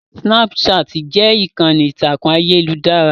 Snapchat jẹ́ ìkànnì ìtàkùn ayélujára